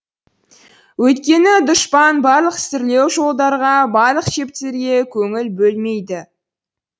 өйткені дұшпан барлық сүрлеу жолдарға барлық шептерге көңіл бөлмейді